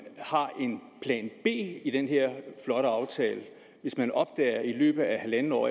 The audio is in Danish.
plan b i den her flotte aftale hvis man i løbet af halvandet år